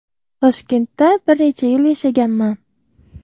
Toshkentda bir necha yil yashaganman.